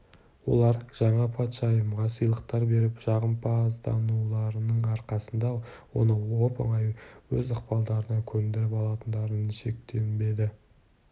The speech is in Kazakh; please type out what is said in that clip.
олар жаңа патшайымға сыйлықтар беріп жағымпаздануларының арқасында оны оп-оңай өз ықпалдарына көндіріп алатындарына шектенбеді